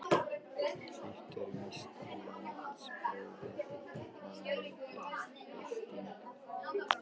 Hitt er víst að landsprófið var mikil bylting.